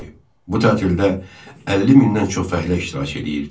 Bu tətildə 50 mindən çox fəhlə iştirak edirdi.